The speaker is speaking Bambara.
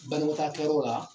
Banikɔtaakɛ yɔrɔ la